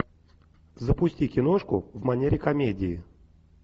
запусти киношку в манере комедии